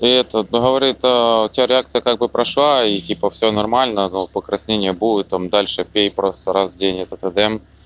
и этот ну говорит у тебя реакция как бы прошла и типа всё нормально но покраснение будет там дальше пей просто раз в день это эден